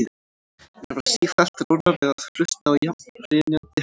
Mér varð sífellt rórra við að hlusta á jafna hrynjandi hennar.